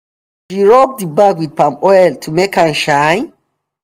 she rub di bag wit palmoil to make am shine